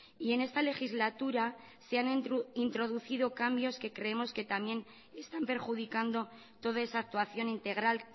y en esta legislatura se han introducido cambios que creemos que también están perjudicando toda esa actuación integral